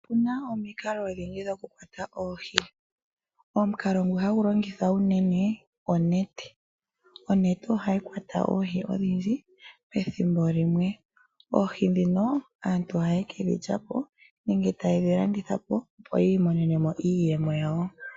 Otuna omikalo odhindji dhokukutha oohi , omukalo ngu hagu longithwa unene onete. Onete ohayi kwata oohi odhindji pethimbo limwe. Oohi ndhino aantu ohaye kedhi landithapo nenge yedhi lyepo opo yiimonenemo iiyemo.